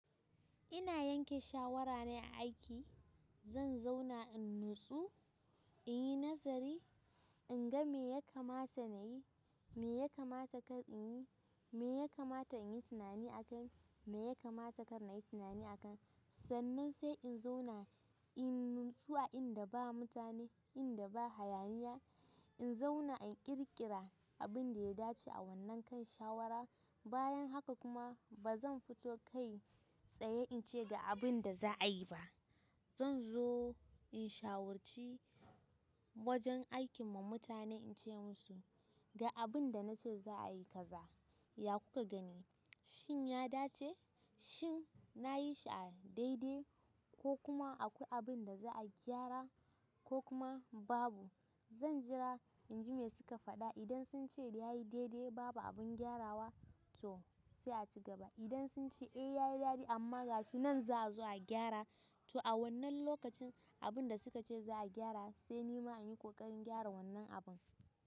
Ina yanke shawara ne a aiki zan zauna in natsu, inyi nazari inga miya kamata nayi miya yakamata kar inyi, miya kamata inyi tunani akai miya kamata kar inyi tunani akan sa. Sannan sai in zauna in natsu a inda ba mutane, inda ba hayaniya. In zauna in ƙirƙira abin da ya dace a wannan kan shawara. Bayan haka kuma ba zan fito kai tsaye in ce ga abin da za a yi ba. Zan zo in shawarci wajen aikin mu mutane ince musu ga abinda nace za'a yi kaza shin yadace. Shin na yi shi a daidai ko kuma akwai abin da za a gyara ko kuma babu. Zan jira in ji me suka faɗa. Idan sun ce ya yi daidai babu abin gyarawa to sai a ci gaba. Idan sun ce eh ya yi dadi amma ga shi nan za a zo a gyara to a wannan lokacin abin da suka ce za a gyara sai ni ma in yi ƙoƙarin gyara wannan abin.